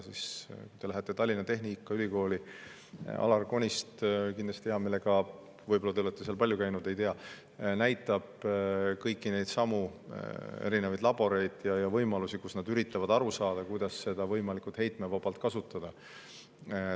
Kui te lähete Tallinna Tehnikaülikooli, siis Alar Konist kindlasti hea meelega – võib-olla te oletegi seal palju käinud, ma ei tea – näitab kõiki neid erinevaid laboreid, kus nad uurivad võimalusi ja üritavad aru saada, kuidas võimalikult heitmevabalt kasutada.